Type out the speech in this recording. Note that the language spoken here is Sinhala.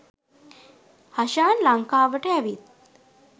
හෂාන් ලංකාවට ඇවිත්